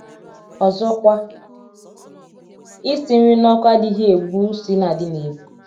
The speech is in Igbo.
Ọzọkwa, isi nri n’ọkụ adịghị egbu ụsí na - adị n’ebu.